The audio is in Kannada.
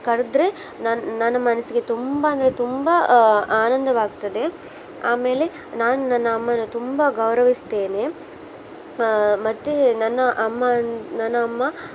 ಕರ್ದ್ರೆ ನನ್ನ್ ನನ್ನ ಮನ್ಸಿಗೆ ತುಂಬಾ ಅಂದ್ರೆ ತುಂಬಾ ಆ ಆನಂದವಾಗ್ತದೆ ಆಮೇಲೆ ನಾನು ನನ್ನ ಅಮ್ಮನ ತುಂಬಾ ಗೌರವಸ್ತೇನೆ. ಆ ಮತ್ತೆ ನನ್ನ ಅಮ್ಮನ್ ನನ್ನ ಅಮ್ಮ